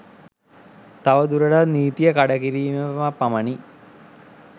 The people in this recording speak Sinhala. තවදුරටත් නීතිය කඩකිරීමම පමණි